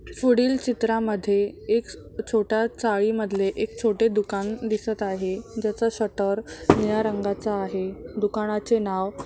पुढील चित्रामध्ये एक छोटा चाळी मधले एक छोटे दुकान दिसत आहे ज्याच शटर निळ्या रंगाच आहे दुकानाचे नाव --